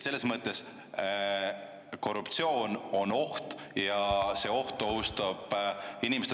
Selles mõttes korruptsioon on oht ja see oht ohustab inimeste …